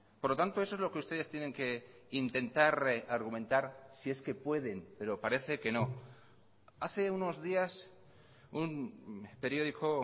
por lo tanto eso es lo que ustedes tienen que intentar argumentar si es que pueden pero parece que no hace unos días un periódico